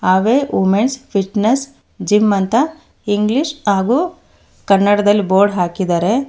ಆವೇ women's fitness gym ಅಂತ English ಹಾಗು ಕನ್ನಡದಲ್ಲಿ ಬೋರ್ಡ್ ಹಾಕಿದಾರೆ.